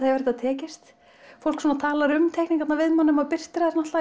hefur þetta tekist fólk svona talar um teikningarnar við mann þegar maður birtir þær